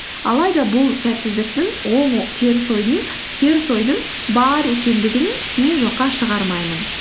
алайда бұл сәтсіздіктің оң теріс ойдың бар екендігін мен жоққа шығармаймын